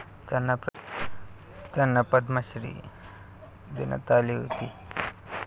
त्यांना पद्मश्री देण्यात आली होती.